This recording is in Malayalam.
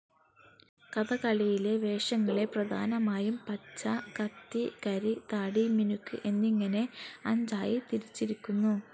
കഥകളിയിലെ വേഷങ്ങളെ പ്രധാനമായും പച്ച, കത്തി, കരി, താടി, മിനുക്ക് എന്നിങ്ങനെ അഞ്ചായി തിരിച്ചിരിക്കുന്നു.